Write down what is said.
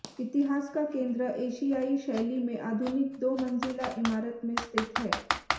इतिहास का केंद्र एशियाई शैली में आधुनिक दो मंजिला इमारत में स्थित है